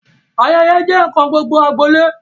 Ayẹyẹ jẹ nkan gbogbo agbolé.